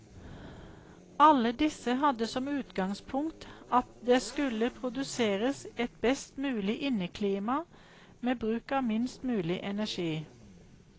Alle disse hadde som utgangspunkt at det skulle produseres et best mulig inneklima med bruk av minst mulig energi.